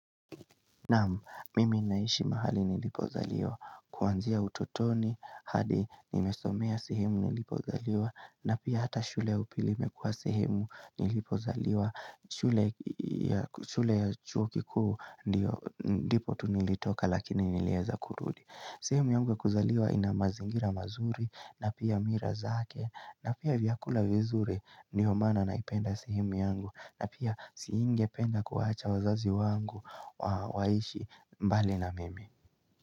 Naam mimi ninaishi mahali nilipozaliwa kuanzia utotoni hadi nimesomea sehemu nilipozaliwa na pia hata shule ya upili imekuwa sehemu nilipozaliwa shule ya chuo kikuu ndipo tu nilitoka lakini nilieza kurudi sehemu yangu ya kuzaliwa ina mazingira mazuri na pia mila zake na pia vyakula vizuri ndio maana naipenda sehemu yangu na pia singependa kuacha wazazi wangu waishi mbali na mimi.